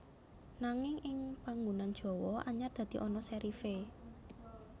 Nanging ing panggunan Jawa anyar dadi ana serif é